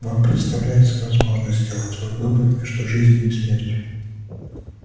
вам предоставляется возможность сделать свой выбор между жизнью и смертью